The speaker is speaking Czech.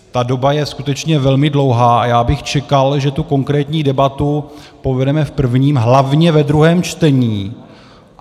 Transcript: Ta doba je skutečně velmi dlouhá a já bych čekal, že tu konkrétní debatu povedeme v prvním, hlavně ve druhém čtení.